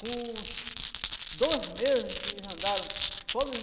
Com uns dois meses que eles andaram, só